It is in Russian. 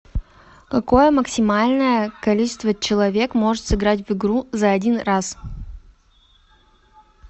какое максимальное количество человек может сыграть в игру за один раз